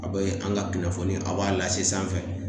A be an ka kunnafoni , a b'a lase sanfɛ.